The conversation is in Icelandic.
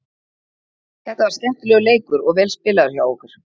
Þetta var skemmtilegur leikur og vel spilaður hjá okkur.